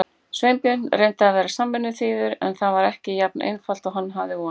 Sveinbjörn reyndi að vera samvinnuþýður en það var ekki jafn einfalt og hann hafði vonað.